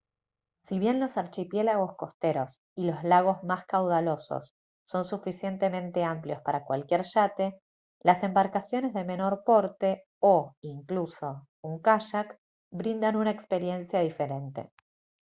si bien los archipiélagos costeros y los lagos más caudalosos son suficientemente amplios para cualquier yate las embarcaciones de menor porte o incluso un kayak brindan una experiencia diferente